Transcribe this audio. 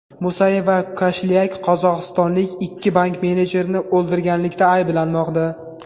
Musayev va Koshlyak qozog‘istonlik ikki bank menejerini o‘ldirganlikda ayblanmoqda.